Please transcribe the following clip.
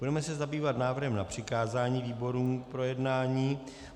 Budeme se zabývat návrhem na přikázání výborům k projednání.